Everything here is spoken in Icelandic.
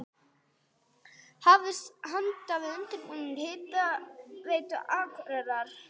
Hafist handa við undirbúning Hitaveitu Akureyrar.